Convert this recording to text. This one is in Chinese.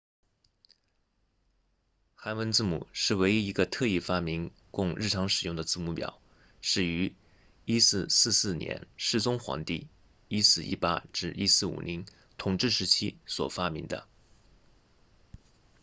韩文字母是唯一一个特意发明供日常使用的字母表是于1444年世宗皇帝1418 1450统治时期所发明的